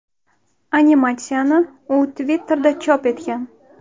Animatsiyani, u Twitter’da chop etgan.